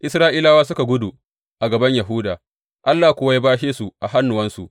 Isra’ilawa suka gudu a gaban Yahuda, Allah kuwa ya bashe su a hannuwansu.